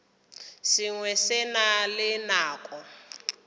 sengwe se na le nako